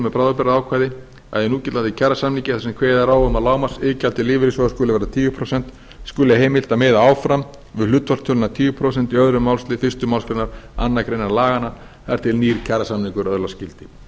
með bráðabirgðaákvæði að í núgildandi kjarasamningi þar sem kveðið er á um að lágmarksiðgjald lífeyrissjóða skuli vera tíu prósent skuli heimilt að miða áfram við hlutfallstöluna tíu prósent í öðrum málsl fyrstu málsgrein annarrar greinar laganna þar til nýr kjarasamningur öðlast gildi